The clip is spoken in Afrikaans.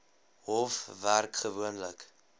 hof werk gewoonlik